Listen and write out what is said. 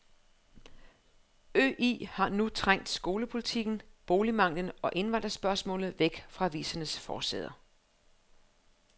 Øl har nu trængt skolepolitikken, boligmangelen og indvandrerspørgsmålet væk fra avisernes forsider.